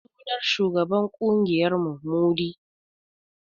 Sunan shugaban ƙungiyar mu Mudi